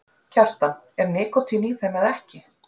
Kjartan: Er nikótín í þeim eða ekki?